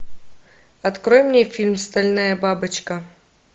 открой мне фильм стальная бабочка